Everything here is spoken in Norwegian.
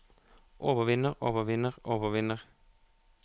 overvinner overvinner overvinner